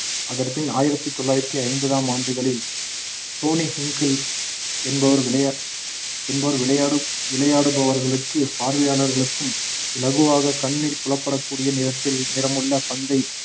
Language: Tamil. அதன் பின் ஆயிரத்தி தொள்ளாயிரத்தி ஐம்பதாம் ஆண்டுகளில் டொனி ஹின்கிள் என்பவர் விளை~ என்பவர் விளையாடு விளையாடுபவர்களுக்கு பார்வையாளர்களுக்கும் இலகுவாக கண்ணில் புலப்படக்கூடிய நிறத்தில் நிறமுள்ள பந்தை